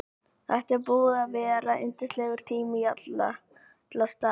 Þetta er búið að vera yndislegur tími í alla staði.